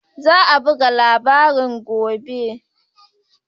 Za a buga labarin gobe